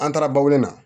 An taara bawuli la